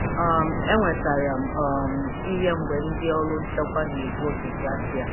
um Enwetara um m ihe mgbe ndị ọrụ nchekwa na-egbu oge Bruatai.